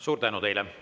Suur tänu teile!